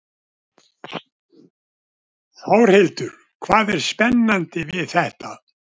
Þórhildur: Hvað er spennandi við þetta?